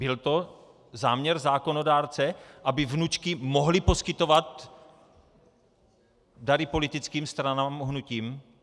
Byl to záměr zákonodárce, aby vnučky mohly poskytovat dary politickým stranám a hnutím?